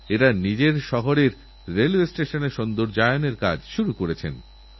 সকলকে সমান ভাবা এবং সকলকে আপন ভাবার এটাই তো পথযা আমাদের উজ্জ্বল ভবিষ্যতের দিকে নিয়ে যায়